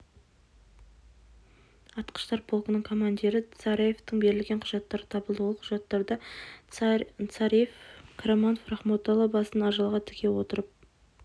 атқыштар полкінің командирі царевтің берілген құжаттары табылды ол құжаттарда царев қараманов рахметолла басын ажалға тіге отырып